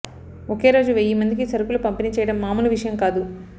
ఒకే రోజు వెయ్యి మందికి సరుకులు పంపిణీ చేయడం మామూలు విషయం కాదు